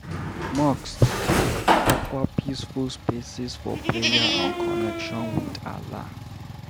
Mosques dey offer peaceful spaces for prayer and connection with Allah.